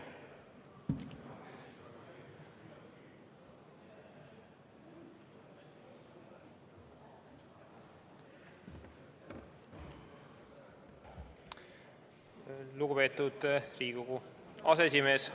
Lugupeetud Riigikogu aseesimees!